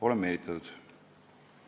Olen meelitatud.